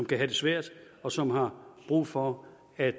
det svært og som har brug for at